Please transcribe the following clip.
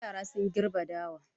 Yara sun gerbe dawa.